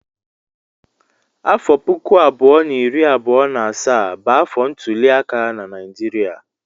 Afọ puku abụọ na iri abụọ na asaa bụ afọ ntuliaka na Naịjirịa.